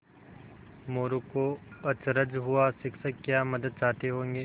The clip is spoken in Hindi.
मोरू को अचरज हुआ शिक्षक क्या मदद चाहते होंगे